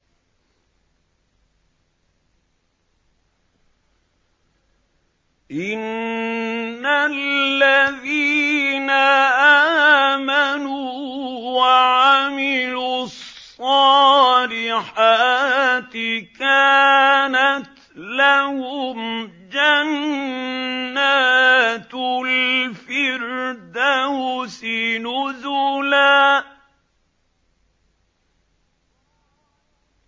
إِنَّ الَّذِينَ آمَنُوا وَعَمِلُوا الصَّالِحَاتِ كَانَتْ لَهُمْ جَنَّاتُ الْفِرْدَوْسِ نُزُلًا